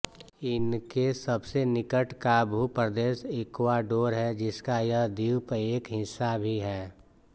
इनके सबसे निकट का भूप्रदेश ईक्वाडोर है जिसका यह द्वीप एक हिस्सा भी हैं